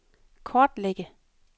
kortlægge